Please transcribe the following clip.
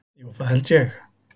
Jú, það held ég.